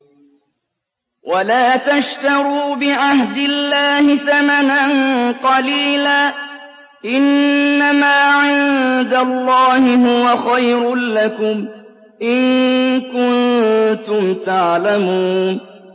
وَلَا تَشْتَرُوا بِعَهْدِ اللَّهِ ثَمَنًا قَلِيلًا ۚ إِنَّمَا عِندَ اللَّهِ هُوَ خَيْرٌ لَّكُمْ إِن كُنتُمْ تَعْلَمُونَ